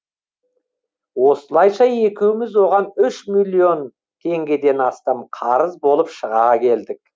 осылайша екеуміз оған үш миллион теңгеден астам қарыз болып шыға келдік